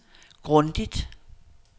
grundigt